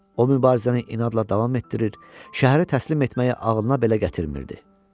O mübarizəni inadla davam etdirir, şəhəri təslim etməyə ağlına belə gətirmirdi.